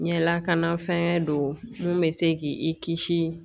N ye lakana fɛnkɛ don mun be se k'i kisi